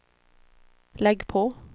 lägg på